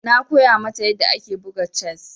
Na koya mata yadda ake buga chess.